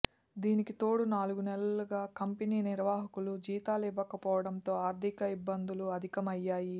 దీనికి తోడు నాలుగు నెలలుగా కంపెనీ నిర్వాహకులు జీతాలు ఇవ్వకపోవడంతో ఆర్థిక ఇబ్బందులు అధికమయ్యాయి